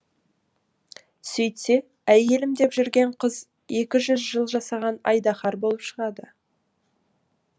сөйтсе әйелім деп жүрген қыз екі жүз жыл жасаған айдаһар болып шығады